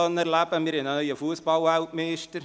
Wir haben einen neuen Fussballweltmeister.